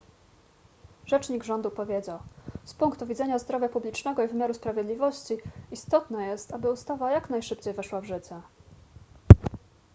rzecznik rządu powiedział z punktu widzenia zdrowia publicznego i wymiaru sprawiedliwości istotne jest aby ustawa jak najszybciej weszła w życie